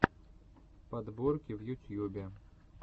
подборки в ютьюбе